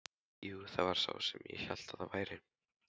Jú, það var sá sem ég hélt að það væri!